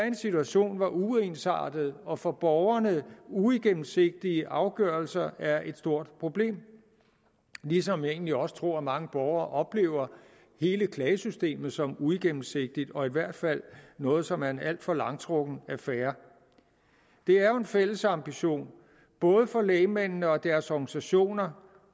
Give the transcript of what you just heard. en situation hvor uensartede og for borgerne uigennemsigtige afgørelser er et stort problem ligesom jeg egentlig også tror at mange borgere oplever hele klagesystemet som uigennemsigtigt og i hvert fald noget som er en alt for langtrukken affære det er jo en fælles ambition både for lægmændene og deres organisationer